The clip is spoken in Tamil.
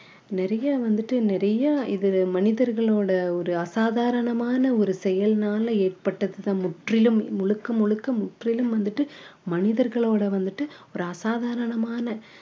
நிறைய வந்துட்டு நிறைய இது மனிதர்களோட ஒரு அசாதாரணமான ஒரு செயல்னால ஏற்பட்டதுதான் முற்றிலும் முழுக்க முழுக்க முற்றிலும் வந்துட்டு மனிதர்களோட வந்துட்டு ஒரு அசாதாரணமான